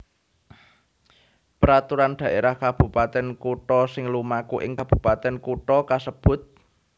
Peraturan Dhaérah Kabupatèn Kutha sing lumaku ing kabupatèn kutha kasebut